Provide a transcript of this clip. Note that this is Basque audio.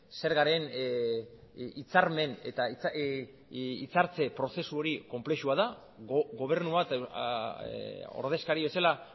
zergaren hitzarmen eta hitzartze prozesu hori konplexua da gobernu bat ordezkari bezala